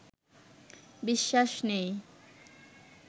বিশ্বাস নেই